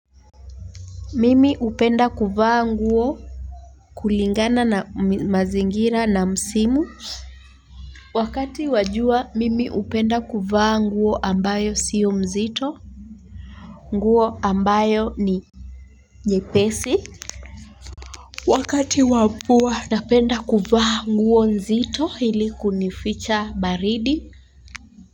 Mimi hupenda kuvaa nguo kulingana na mazingira na msimu wakati wa jua, mimi hupenda kuvaa nguo ambayo sio mzito. Nguo ambayo ni nyepesi. Wakati wa mvua. Napenda kuvaa nguo mzito ili kunificha baridi.